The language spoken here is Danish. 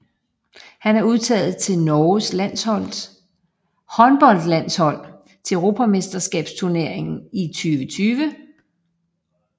Han er udtaget til Norges håndboldlandshold til euromesterskabsturneringen i 2020